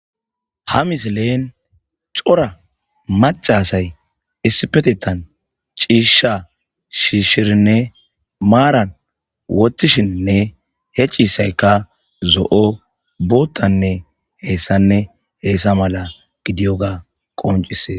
Ha misileen cora macasay issipetetan ciisha shiishshirinne maaran wottishinnne he ciisaykka zo'o boottanne heessanne heessa mala gidiyoga qoncisees.